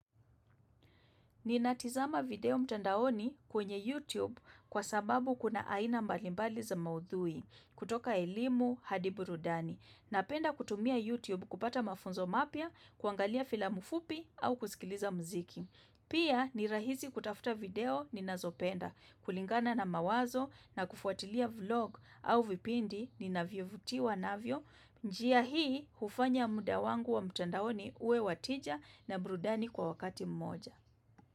Ninatazama video mtandaoni kwenye YouTube kwa sababu kuna aina mbalimbali za maudhui kutoka elimu hadi burudani. Napenda kutumia YouTube kupata mafunzo mapya, kuangalia filamu fupi au kusikiliza mziki. Pia ni rahisi kutafuta video ninazopenda kulingana na mawazo na kufuatilia vlog au vipindi ninavyo vutiwa navyo. Njia hii hufanya muda wangu wa mtandaoni uwe wa tija na burudani kwa wakati mmoja.